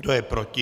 Kdo je proti?